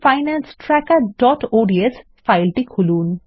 personal finance trackerঅডস ফাইলটি খুলুন